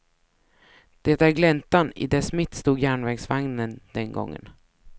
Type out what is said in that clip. Det är gläntan, i dess mitt stod järnvägsvagnen den gången.